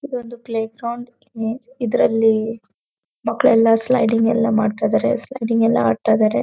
ಇದೊಂದು playground ಇದ್ರಲ್ಲಿ ಮಕ್ಕಳ್ಳೆಲ್ಲ ಸ್ಲೈಡಿಂಗ್ ಎಲ್ಲಾ ಮಾಡ್ತಾ ಇದ್ದಾರೆ ಸ್ಲೈಡಿಂಗ್ ಎಲ್ಲ ಆಡ್ತಾ ಇದ್ದಾರೆ.